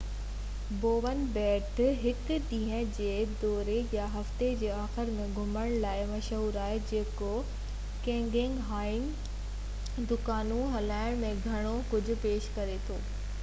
Bowen ٻيٽ هڪ ڏينهن جي دوري يا هفتي جي آخر ۾ گهمڻ لاءِ مشهورآهي جيڪو ڪيڪنگ هائيڪنگ دڪانون هوٽلون ۽ گهڻو ڪجهه پيش ڪري ٿو